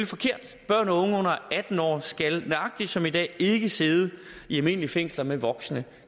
forkert børn og unge under atten år skal nøjagtig som i dag ikke sidde i almindelige fængsler med voksne